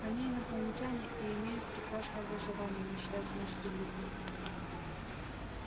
они инопланетяне и имеют прекрасное образование не связанное с религией